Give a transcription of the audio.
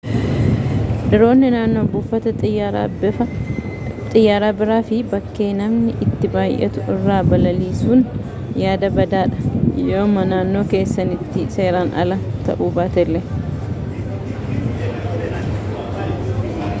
diroonii naannoo buufata xiyyaaraa bira fi bakkee namni itti baay'attu irra balaliisuun yaada badaa dha yooma naannoo keessaniitti seeraan ala ta'uu baatellee